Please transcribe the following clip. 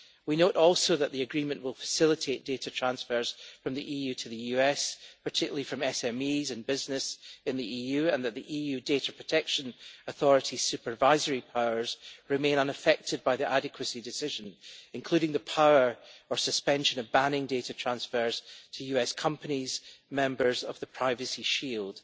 We note also that the agreement will facilitate data transfers from the EU to the US, particularly from SMEs and business in the EU, and that the EU Data Protection Authority's supervisory powers remain unaffected by the adequacy decision, including the power of suspending or banning data transfers to US companies that are members of the Privacy Shield.